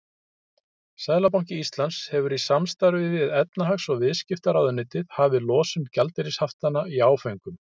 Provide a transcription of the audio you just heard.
Seðlabanki Íslands hefur í samstarfi við efnahags- og viðskiptaráðuneytið hafið losun gjaldeyrishaftanna í áföngum.